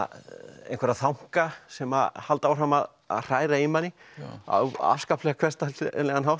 einhverja þanka sem halda áfram að að hræra í manni á afskaplega hversdagslegan hátt